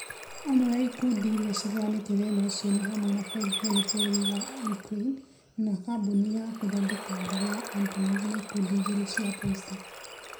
Amwe a ikundi irĩa ciheanĩte thĩna ũcio nĩ hamwe na bengĩ nene bũrũri wa ukraine, na kambuni ya gũthodeka ndege ya Antonov na ikundi igĩrĩ cia Posta